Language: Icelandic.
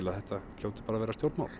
að þetta hljóti bara að vera stjórnmál